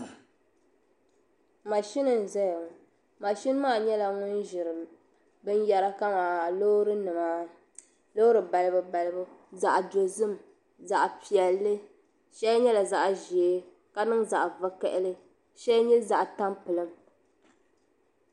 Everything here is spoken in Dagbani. Mashini n zaya ŋɔ mashini maa nyɛla ŋun ʒiri binyara kamani loorinima loori balibu balibu zaɣpiɛlli zaɣdozim shɛli nyela zaɣʒee ka niŋ zaɣvokaɣili ka shɛli nye zaɣtanpiliŋ.